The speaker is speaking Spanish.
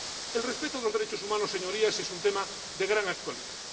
El respeto de los derechos humanos, Señorías, es un tema de gran actualidad.